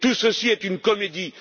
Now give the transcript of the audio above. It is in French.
Tout cela est une comédie.